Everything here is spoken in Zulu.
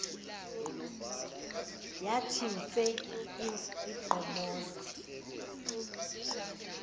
yathi nse igqomoza